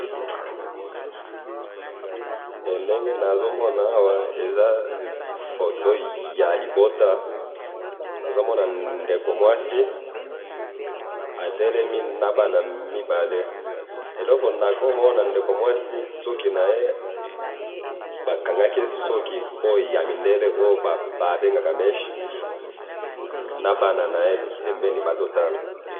Ndenge nazomona awa, eza foto yalibota, nazomona ndeko mwasi atelemi nabana mibale, eloko nakoki komana, ndeko mwasi suki naye, bakangaki ye suki oyo yamindele, oyo babengaka minche, nabana naye pembeni bazotala